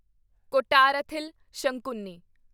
Kottarathil Sankunni